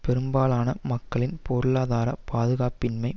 பெரும்பாலான மக்களின் பொருளாதார பாதுகாப்பின்மையும்